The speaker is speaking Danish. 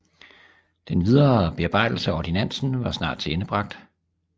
Den videre bearbejdelse af Ordinantsen var snart tilendebragt